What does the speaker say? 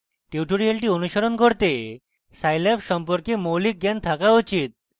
tutorial অনুশীলন করতে scilab সম্পর্কে মৌলিক জ্ঞান থাকা উচিত